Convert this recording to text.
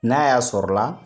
N'a y'a sɔrɔ la